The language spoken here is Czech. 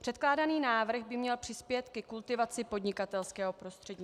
Předkládaný návrh by měl přispět ke kultivaci podnikatelského prostředí.